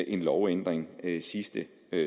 en lovændring sidste